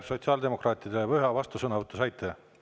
Sotsiaaldemokraatidele: ühe vastusõnavõtu te saite.